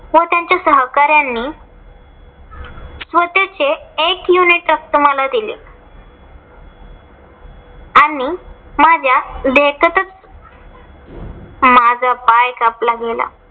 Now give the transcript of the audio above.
व त्यांच्या सहकाऱ्यांनी व त्याचे एक unit च मला दिले आणि माझ्या देकतच माझा पाय कापला गेला.